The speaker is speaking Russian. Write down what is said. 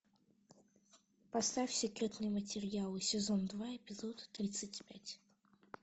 поставь секретные материалы сезон два эпизод тридцать пять